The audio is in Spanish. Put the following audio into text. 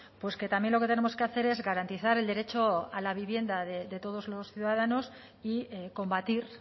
pues que también lo que tenemos que hacer es garantizar el derecho a la vivienda de todos los ciudadanos y combatir